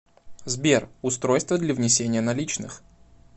сбер устройство для внесения наличных